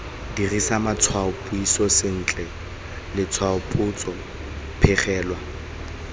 dirisa matshwaopuiso sentle letshwaopotso phegelwana